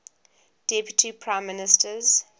deputy prime ministers